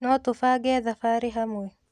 Notũbange thabarĩ hamwe?